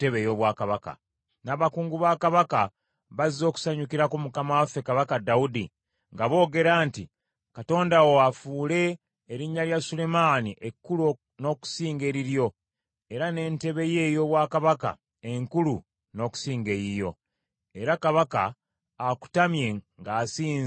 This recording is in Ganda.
N’abakungu ba kabaka bazze okusanyukirako mukama waffe Kabaka Dawudi, nga boogera nti, ‘Katonda wo afuule erinnya lya Sulemaani ekkulu n’okusinga eriryo era n’entebe ye ey’obwakabaka enkulu n’okusinga eyiyo!’ Era Kabaka akutamye ng’asinza ku kitanda kye,